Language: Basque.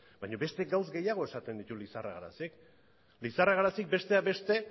baina beste gauza gehiago esaten ditu lizarra garazik lizarra garazik besteak beste